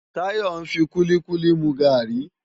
Tayo n fi kúlikúli mú gári